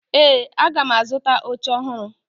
Ee, aga m azụta oche ọhụrụ